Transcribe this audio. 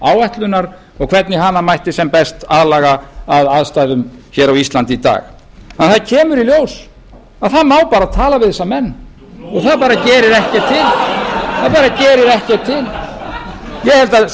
áætlunar og hvernig hana mætti sem mest aðlaga að aðstæðum á íslandi í dag en það kemur í ljós að það má bara tala við þessa menn og það